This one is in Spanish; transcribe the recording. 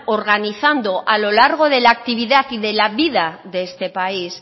organizando a lo largo de la actividad y de la vida de este país